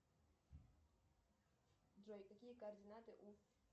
джой какие координаты у